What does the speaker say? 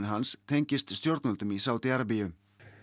hans tengist stjórnvöldum í Sádí Arabíu